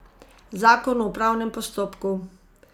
Zakon o upravnem postopku?